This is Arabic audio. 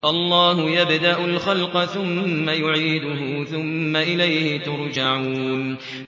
اللَّهُ يَبْدَأُ الْخَلْقَ ثُمَّ يُعِيدُهُ ثُمَّ إِلَيْهِ تُرْجَعُونَ